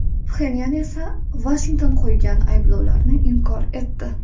Pxenyan esa Vashington qo‘ygan ayblovlarni inkor etdi.